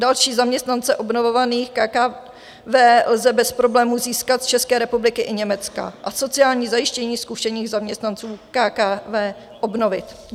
Další zaměstnance obnovovaných KKW lze bez problémů získat z České republiky i Německa a sociální zajištění zkušených zaměstnanců KKW obnovit.